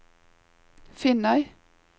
Finnøy